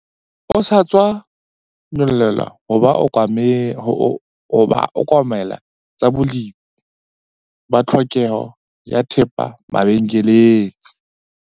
O sa tswa nyollelwa ho ba okamela tsa bolepi ba tlhokeho ya thepa mabenkeleng.